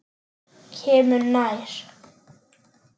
Kemur nær.